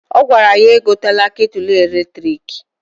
Ọ gwara ya egotela ketulu eletriki.